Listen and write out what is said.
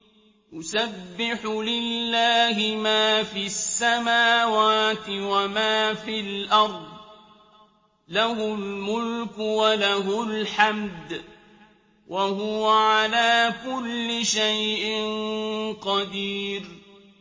يُسَبِّحُ لِلَّهِ مَا فِي السَّمَاوَاتِ وَمَا فِي الْأَرْضِ ۖ لَهُ الْمُلْكُ وَلَهُ الْحَمْدُ ۖ وَهُوَ عَلَىٰ كُلِّ شَيْءٍ قَدِيرٌ